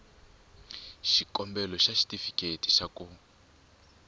xikombelo xa xitifiketi xa ku